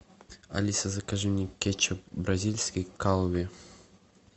алиса закажи мне кетчуп бразильский кальве